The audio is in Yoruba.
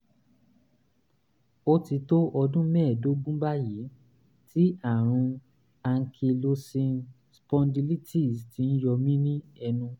ó ti tó ọdún mẹ́ẹ̀ẹ́dógún báyìí tí àrùn ankylosing spondylitis ti ń yọ mí mí lẹ́nu